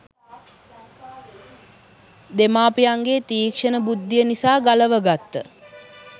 දෙමාපියන්ගේ තීක්ෂණ බුද්ධිය නිසා ගලව ගත්ත